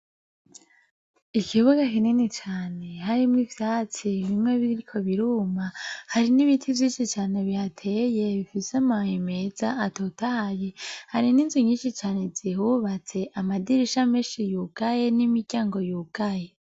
Ikibuga kirinini cane, harimwo ivyatsi bimwe biriko biruma, hari n'ibiti vyinshi cane bihateye , bifise amababi meza atotahaye. Hari n'inzu nyinshi cane zihubatse , amadirisha menshi yugaye, n'imiryango yugaye.